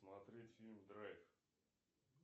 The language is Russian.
смотреть фильм драйв